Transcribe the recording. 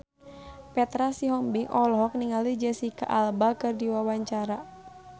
Petra Sihombing olohok ningali Jesicca Alba keur diwawancara